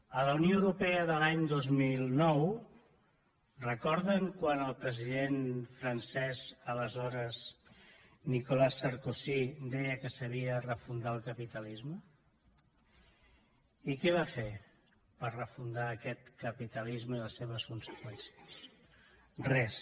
en la unió europea de l’any dos mil nou recorden quan el president francès aleshores nicolas sarkozy deia que s’havia de refundar el capitalisme i què va fer per refundar aquest capitalisme i les seves conseqüències res